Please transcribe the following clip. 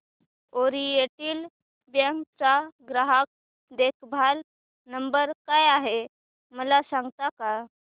oriental Bank चा ग्राहक देखभाल नंबर काय आहे मला सांगता का